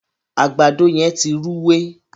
àgbàdo yén tí Rúwé.